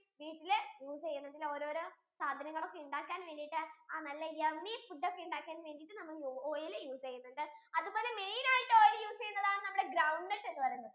വീട്ടില് use ചെയ്യും ഇങ്ങനെ ഓരോരോ സാധനങ്ങൾ ഒക്കെ ഇണ്ടാക്കാൻ വേണ്ടീട്ട് നല്ല yummy foods ഒക്കെ ഇണ്ടാക്കാൻ വേണ്ടീട്ട് നമ്മൾ oil use ചെയ്യുന്നുണ്ട് അതേപോലെ main ആയിട്ടു oil use ചെയ്യുന്നത് ചെയുന്നതാണ് നമ്മുടെ ground nut എന്ന് പറയുന്നത്